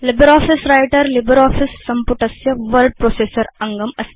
LibreOffice Writer LibreOffice सम्पुटस्य word processor अङ्गम् अस्ति